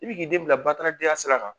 I bɛ k'i den bila bataradenya sira kan!